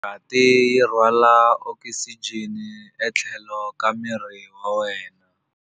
Ngati yi rhwala okisijeni etlhelo ka miri wa wena.